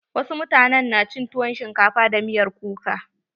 Wasu mutanen na cin tuwon shinkafa da miyar kuka.